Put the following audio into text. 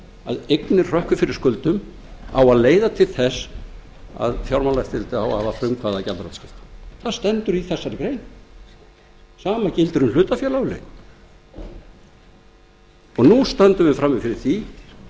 að eignir hrökkvi fyrir skuldum á að leiða til þess að fjármálaeftirlitið á að frumkvæði að gjaldþrotaskiptum það stendur í þessari grein sama gildir um hlutafélagalögin nú stöndum við frammi fyrir því að